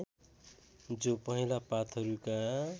जो पहेँला पातहरूका